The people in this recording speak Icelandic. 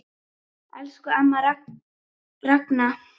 Elsku amma Ragna.